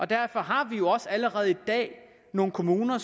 derfor har vi også allerede i dag nogle kommuner